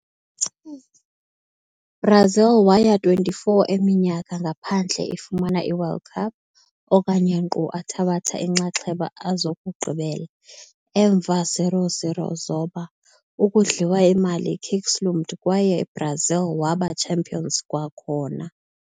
Brazil waya 24 eminyaka ngaphandle ifumana i-World Cup okanye nkqu athabatha inxaxheba a zokugqibela. Emva 0-0 zoba, ukudliwa imali kicks loomed kwaye Brazil waba champions kwakhona.